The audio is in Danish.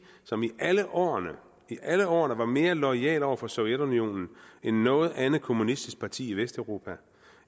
som i alle årene i alle årene var mere loyale over for sovjetunionen end noget andet kommunistisk parti i vesteuropa